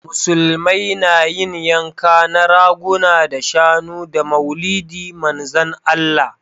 Musulmai na yin yanka na raguna da shanu da maulidi manzan allah